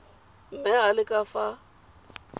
mme a le ka fa